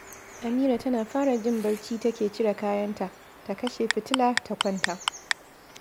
Amira tana fara jin barci take cire kayanta, ta kashe fitila, ta kwanta